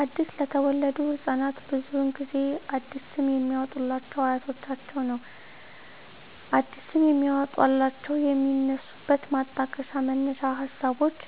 አዲስ ለተወለዱ ህፃናት ብዙውን ጊዜ አዲስ ስም የሚያወጡሏቸው አያቶቻቸውን ነው አዲስ ስም የሚያወጧላቸው የሚነሱበት ማጣቀሻ መነሻ ሀሳቦች